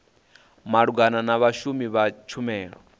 malugana na vhashumi vha tshumelo